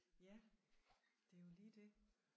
Ja det er jo lige det